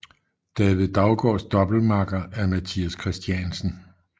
David Daugaards doublemakker er Mathias Christiansen